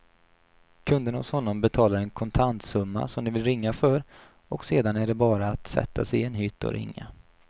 Kunderna hos honom betalar en kontantsumma som de vill ringa för och sedan är det bara att sätta sig i en hytt och ringa.